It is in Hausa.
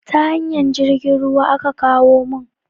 Ta hanyar jirgin ruwan aka kawo mun